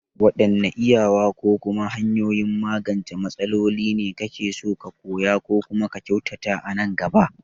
Waɗanne iyawa ko kuma hanyoyin magance matsaloli ne kake so ka koya ko kuma ka kyautata a nan gaba?